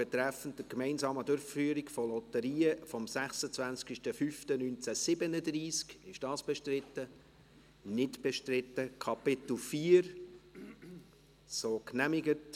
Wer dieser IKV beitreten will, stimmt Ja, wer dies nicht möchte, stimmt Nein.